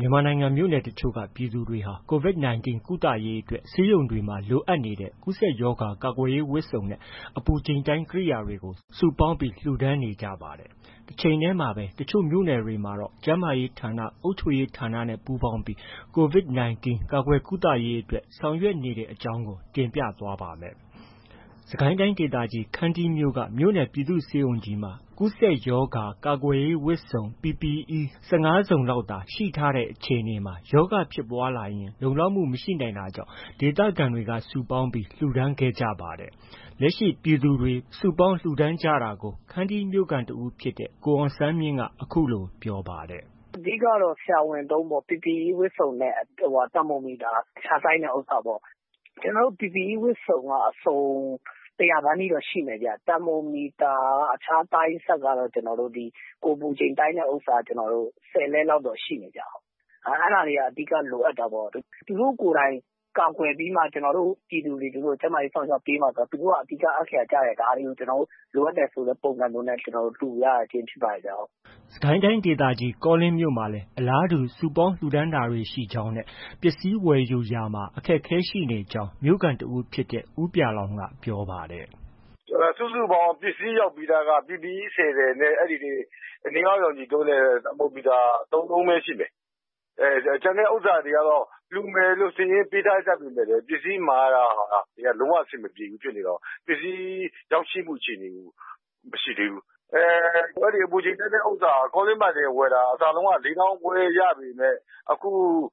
မြန်မာနိုင်ငံမြို့နယ် တချို့က ပြည်သူတွေဟာ COVID-19 ကုသရေးအတွက် ဆေးရုံတွေမှာ လိုအပ်နေတဲ့ ကူးစက်ရောဂါကာကွယ်ရေးဝတ်စုံနဲ့ အပူချိန်တိုင်းကိရိယာတွေကို စုပေါင်းပြီး လှူဒါန်းနေကြပါတယ်။ တချိန်တည်းမှာပဲ တချို့ မြို့နယ်တွေမှာတော့ ကျန်းမာရေးဌာန၊ အုပ်ချုပ်ရေးဌာနတွေနဲ့ ပူးပေါင်းပြီး COVID-19 ရောဂါကာကွယ်ကုသရေးအတွက် ဆောင်ရွက်နေတဲ့အကြောင်းကို တင်ပြသွားပါမယ်။ VOA သတင်းထောက်ကိုမိုးဇော် ရန်ကုန်ကနေ သတင်းပေးပို့ထားတာပါ။ စစ်ကိုင်းတိုင်းဒေသကြီးခန္တီးမြို့က မြို့နယ်ပြည်သူ့ဆေးရုံကြီးမှာ အစိုးရက ကူးစက်ရောဂါကာကွယ်ရေး PPE ဝတ်စုံ ၁၅ စုံလောက်သာ ရှိထားတဲ့အခြေအနေမှာ ရောဂါဖြစ်ပွားလာရင် လုံလောက်မှု မရှိ နိုင်တာကြောင့် ဒေသခံတွေက စုပေါင်းပြီး လှုဒါန်းခဲ့ကြပါတယ်။ လက်ရှိ ပြည်သူတွေ စုပေါင်းလှုဒါန်းကြတာကို ခန္တီးမြို့ခံတဦးဖြစ်တဲ့ ကိုအောင်ဆန်းမြင့်က အခုလို ပြောပါတယ်။ “အဓိကကတော့ ဆရာဝန်သုံးပေါ့။ PPE ဝတ်စုံနဲ့ သာမိုမီတာ အဖျားတိုင်းတဲ့ ဥစ္စာပေါ့။ ကျနော်တို့ PPE ဝတ်စုံက ၁၀၀ နီးပါးတော့ ရှိမယ်ဗျ။ သာမိုမီတာက အဖျားတိုင်းစက်ကတော့ ဒီကိုယ်ပူချိန်တိုင်းတဲ့ဥစ္စာက ၁၀လက် လောက်တော့ ရှိမယ်ဗျ။ အဲဒါတွေက အဓိက လိုအပ်တာပေါ့။ သူတို့ကိုယ်တိုင် ကာကွယ်ပြီးမှ ကျနော်တို့ ပြည်သူတွေကို ကျန်းမာရေး စောင့်ရှောက်ပေးမှာဆိုတော့ သူတို့က အဓိက အခရာကျတယ်။ ဒါတွေကို လိုအပ်တယ်ဆိုတဲ့ ပုံစံမျိုးနဲ့ ကျနော်တို့ လှူရခြင်း ဖြစ်ပါတယ်ဗျ။” စစ်ကိုင်းတိုင်းဒေသကြီး ကောလင်းမြို့မှာလည်း အလားတူ စုပေါင်းလှူဒါန်းတာတွေရှိကြောင်းနဲ့ ပစ္စည်းဝယ်ယူရာမှာ အခက်အခဲတွေရှိနေကြောင်း မြို့ခံတဦးဖြစ်တဲ့ ဦးပြာလောင် က ပြောပါတယ်။ “စုစုပေါင်း ပစ္စည်းရောက်ပြီးသားက PPE ၁၀ ထည်နဲ့ အနီအောက်ရောင်ခြည်သုံးတဲ့ သာမိုမီတာက ၃လုံးပဲ ရှိမယ်။ ကျန်တဲ့ ဥစ္စာတွေက လှူမယ်လို့ စာရင်းပေးထားကြပေမဲ့လည်း ပစ္စည်းမှာရတာက လုံးဝအဆင်မပြေဘူးဆိုတော့ ပစ္စည်းရောက်ရှိမှုအခြေအနေက မရှိသေးဘူး။ အပူချိန်တိုင်းတဲ့ဥစ္စာ ကောလင်းမှာတင်ဝယ်တာ အစတုံးက ၄၅,၀၀၀ ရပေမဲ့ အခု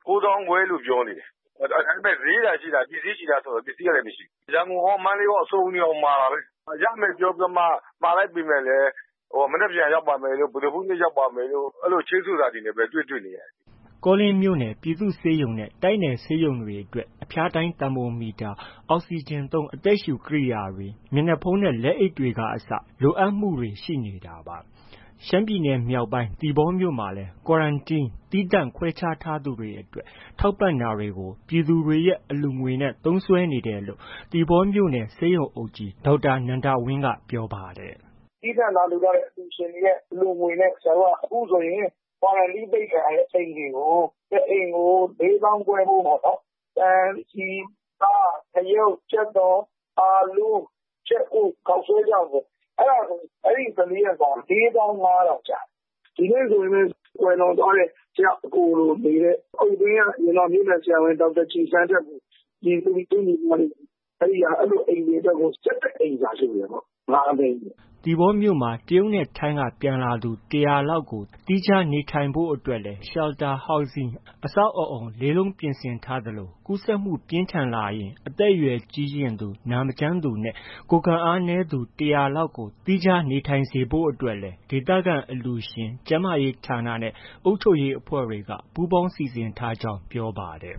၉၅,၀၀၀ လို့ ပြောနေတယ်။ ဒါပေမဲ့ ဈေးသာရှိတာ ပစ္စည်းရှိလားဆိုတော့ ပစ္စည်းကလည်း မရှိဘူး။ ရန်ကုန်ရော၊ မန္တလေးရော စုံနေအောင်မှာတာပဲ။ ရမယ်ပြောပြီး မှာလိုက်ပေမဲ့လည်း မနက်ဖြန်ရောက်ပါမယ်တို့၊ ဗုဒ္ဓဟူးနေ့ ရောက်ပါမယ်တို့ အဲလို ချိန်းဆိုတာတွေနဲ့ပဲ တွေ့တွေ့နေရတယ်။” ကောလင်းမြို့နယ် ပြည်သူ့ဆေးရုံနဲ့ တိုက်နယ်ဆေးရုံတွေအတွက် အဖျားတိုင်းသာမိုမီတာ၊ အောက်စီဂျင်သုံး အသက်ရှုကိရိယာတွေ၊ မျက်နှာဖုံးနဲ့ လက်အိတ်က အစလိုအပ်မှုတွေရှိနေတာပါ။ ရှမ်းပြည်နယ်မြောက်ပိုင်းက သီပေါမြို့မှာလည်း Quarantine သီးသန့်ခွဲခြားထားသူတွေအတွက် ထောက်ပံ့တာတွေကို ပြည်သူတွေရဲ့ အလှုငွေနဲ့ သုံးစွဲနေတယ်လို့ သီပေါမြို့နယ်ဆေးရုံအုပ်ကြီး ဒေါက်တာနန္ဒဝင်းက ပြောပါတယ်။ “သီးသန့်လာလှူထားတဲ့ အလှူရှင်တွေရဲ့ အလှူငွနဲ့ ဆရာတို့က အခုဆိုရင် Quarantine ပိတ်ခံထားရတဲ့အိမ်တွေကို တအိမ်ကို ၄,၅၀၀၀ ဖိုးပေါ့နော်။ ဆန်၊ဆီ၊ဆား၊ ငြုပ်၊ ကြက်သွန်၊ အာလူး၊ ကြက်ဥ၊ ခေါက်ဆွဲခြောက်ပေါ့ အဲဒါဆိုရင် အဲဒီ ၁၄ ရက်စာ ၄၅,၀၀ ကျတယ်။ဒီနေ့ဆိုရင်လည်း ကွယ်လွန်သွားတဲ့ ဆရာ့အကိုလိုနေတဲ့ အုတ်တွင်းက မြို့နယ်ဆရာဝန်ဒေါက်တာကြည်ဆန်းထက်ကို ရည်စူးပြီး သူ့ညီမတွေက အဲလိုအိမ်တွေအတွက်ကို ၁၁အိမ်စာလှူတယ်ပေါ့ ၅၀၀,၀၀၀ ပေါ့။” သီပေါမြို့မှာ တရုတ်နဲ့ ထိုင်းက ပြန်လာသူ ၁၀၀ လောက်ကို သီးခြားနေထိုင်ဖို့ အတွက်လည်း Shelter Housing အဆောက်အဦး လေးလုံးပြင်ဆင်ထားသလို ရောဂါကူးစက်မှုပြင်းထန်လာရင် အသက်အရွယ်ကြီးရင်သူ၊ နာမကျန်းသူနဲ့ ကိုယ်ခံအားနည်းသူ ၁၀၀ကျော်ကို သီးခြားနေထိုင်စေဖို့အတွက်လည်း ဒေသခံအလှုရှင်၊ ကျန်းမာရေးဌာနနဲ့ အုပ်ချုပ်ရေးအဖွဲ့တွေ ပူးပေါင်းစီစဉ်ထားကြောင်း ပြောပါတယ်